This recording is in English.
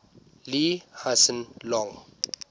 lee hsien loong